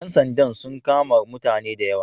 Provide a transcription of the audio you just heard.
Ƴan sanda sun kama mutane da yawa.